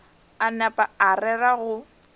a napa a rera go